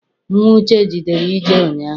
Nnwa Uche jere ije ụnyaahụ.